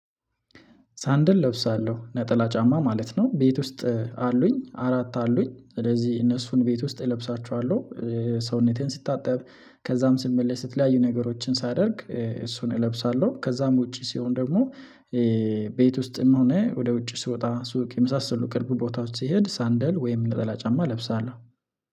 'ሳንድል' እለብሳለሁ ነጠላ ጫማ ማለት ነው። ቤት ውስጥ አሉኝ፤ አራት አሉኝ ስለዚህ እነሱን ቤት ውስጥ እለብሳቸዋለሁ። ሰውነቴን ስታጠብ፣ ከዛም ስመለስ፣ የተለያዩ ነገሮችን ሳደርግ እሱን እለብሳለሁ። ከዛም ውጪ ሲሆን ደግሞ ቤት ውስጥም ሆነ ወደ ውጪ ስወጣ ሱቅ የመሳሰሉ ቅርብ ቦታዎች ስሄድ 'ሳንደል' ወይም ነጠላ ጫማ እለብሳለሁ።